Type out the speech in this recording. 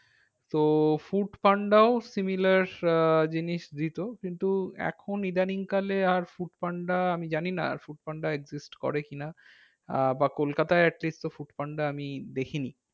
তো ফুড পান্ডাও similar আহ জিনিস দিতো কিন্তু এখন ইদানিং কালে আর ফুড পান্ডা আমি জানি না আর ফুড পান্ডা করে কি না। আহ বা কলকাতায় at least তো ফুড পান্ডা আমি দেখিনি।